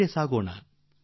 ಮುನ್ನಡೆಯೋಣ